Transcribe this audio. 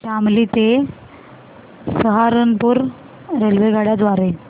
शामली ते सहारनपुर रेल्वेगाड्यां द्वारे